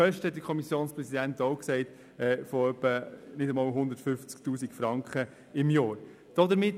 Kosten würden, wie bereits erwähnt, im Rahmen von knapp 150 000 Franken pro Jahr anfallen.